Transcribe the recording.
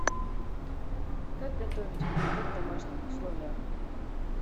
как готовить винегрет в домашних условиях